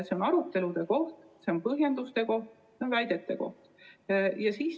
See on arutelude koht, see on põhjenduste koht, see on väidete koht.